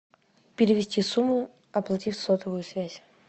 перевести сумму оплатить сотовую связь